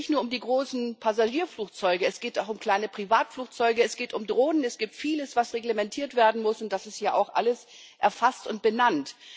Es geht ja nicht nur um die großen Passagierflugzeuge, es geht auch um kleine Privatflugzeuge, es geht um Drohnen, es gibt vieles, was reglementiert werden muss, und das ist hier auch alles erfasst und benannt.